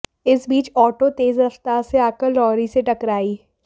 इस बीच ऑटो तेज रफ्तार से आकर लॉरी से टकराई